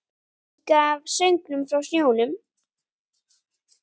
Líka af söngnum frá sjónum.